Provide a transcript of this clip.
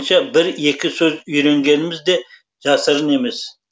бір екі сөз үйренгеніміз де жасырын емес